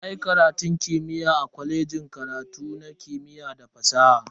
Na yi karatun gaba da difloma a kwalejin kimiyya da fasaha.